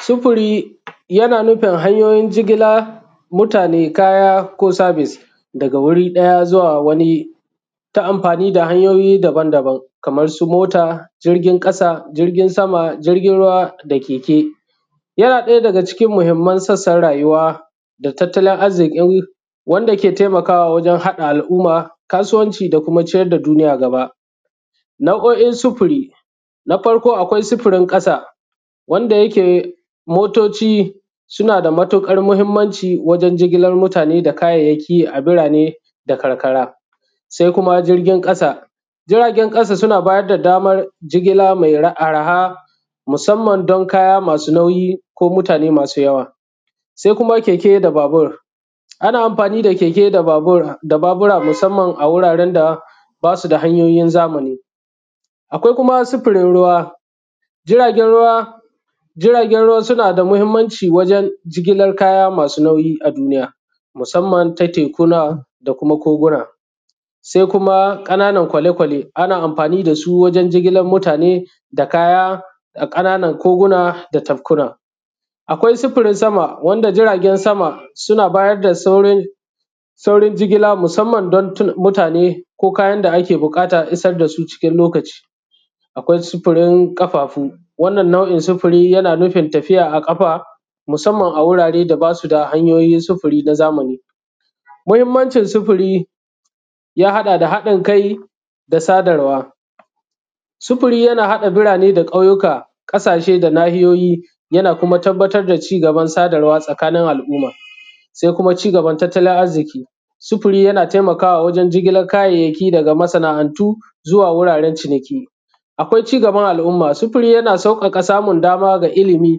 Sufuri yana nufin hanyoyin jigila mutane kaya ko service daga wuri ɗaya zuwa wani ta amfani da hanyoyi daban daban kamar su mota, jirgin ƙasa, jirgin sama, jirgin ruwa da keke. Yana ɗaya daga cikin mahimman sassan rayuwa da tattalin arziki wanda ke taimakawa wajen haɗa al'umma, kasuwanci da kuma ciyar da duniya gaba. Nau’o’in sufuri na farko akwai sufurin ƙasa wanda yake motoci suna da matuƙar mahimmanci wajen jigilan mutane da kayayyaki a birane da karkara, sai kuma jirgin ƙasa jiragen ƙasa suna bayar da daman jigila mai arha musamman don kaya masu nauyi ko mutane masu yawa. Sai kuma keke da babur, ana amfani da keke da babura musamman a wuraren da ba su da hanyoyin zamani. Akwai kuma sufurin ruwa, jiragen ruwa suna da mahimmanci wajen jigilan kaya masu nauyi a duniya musamman ta tekuna da kuma koguna. Sai kuma ƙananan kwale kwale ana amfani da su wajen jigilan mutane da kaya a ƙananan koguna da tafkuna. Akwai sufurin sama wanda jiragen sama suna bayar da saurin jigila musamman don mutane ko kayan da ake buƙata a isar da su cikin lokaci. Akwai sufurin ƙafafu wannan nau'in sufuri yana nufin tafiya a ƙafa musamman a wuraren da basu da hanyoyin sufuri na zamani. Muhimmancin sufuri ya haɗa da haɗin kai da sadarwa. Sufuri yana haɗa birane da ƙauyuka, ƙasashe da nahiyoyi, yana kuma tabbatar da cigaban sadarwa a tsakanin al'umma, sai kuma cigaban tattalin arziki. Sufuri yana taimakawa wajen jigilan kayayyaki daga masana'antu zuwa wuraren ciniki. Akwai cigaban al'umma sufuri yana sauƙaƙa samun dama ga ilimi,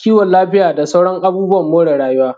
kiwon lafiya da sauran abubuwa more rayuwa.